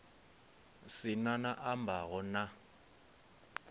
si na a ambaho na